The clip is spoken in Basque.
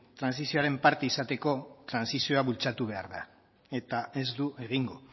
trantsizioaren parte izateko trantsizioa bultzatu behar da eta ez du egingo